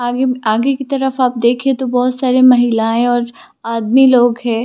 आगे मेंआगे की तरफ आप देखे तो बहोत सारे महिलाए और आदमी लोग है।